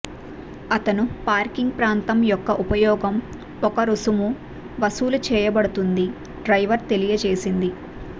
అతను పార్కింగ్ ప్రాంతం యొక్క ఉపయోగం ఒక రుసుము వసూలు చేయబడుతుంది డ్రైవర్ తెలియచేసింది